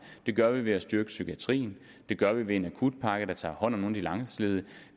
det gør vi ved at styrke psykiatrien det gør vi ved en akutpakke der tager hånd om nogle af de langtidsledige